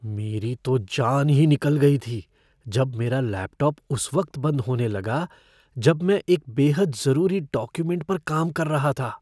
मेरी तो जान ही निकल गई थी जब मेरा लैपटॉप उस वक्त बंद होने लगा जब मैं एक बेहद ज़रूरी डॉक्यूमेंट पर काम कर रहा था।